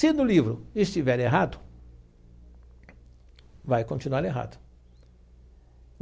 Se no livro estiver errado, vai continuar errado.